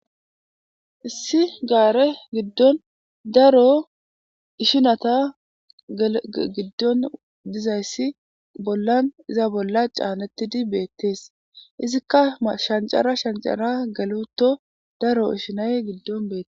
Issi gaare giddon daro ishinata giddon dizayssi bollan iza bolla caanettidi beettees izikka shancara shancara galuto daro ishinay giddon beette.